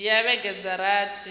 dzhia vhege dza rathi uya